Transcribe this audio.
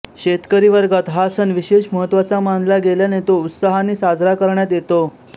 शेतकरी वर्गात हा सण विशेष महत्त्वाचा मानला गेल्याने तो उत्साहाने साजरा करण्यात येतो